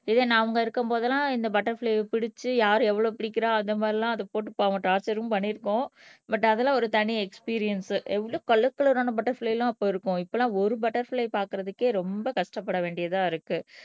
இதே நம்ம இருக்கும் போதெல்லாம் இந்த பட்டர்பிளைஅ பிடிச்சு யார் எவ்வளவு பிடிக்கறா அந்த மாதிரி எல்லாம் அதை போட்டு பாவம் டார்ச்சரும் பண்ணியிருக்கோம் பட் அதெல்லாம் ஒரு தனி எஸ்பிரின்ஸ் எவ்வளவு கலர் கலர் ஆன பட்டர்பிளைல எல்லாம் போயிருக்கும் இப்ப எல்லாம் ஒரு பட்டர்பிளை பார்க்கிறதுக்கே ரொம்ப கஷ்டப்பட வேண்டியதா இருக்கு